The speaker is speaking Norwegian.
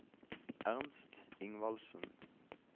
Ernst Ingvaldsen